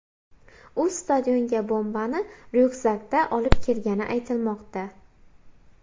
U stadionga bombani ryukzakda olib kelgani aytilmoqda.